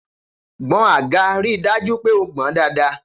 Gboń àgá, ri dàjú pẹ ó gbon dàdá!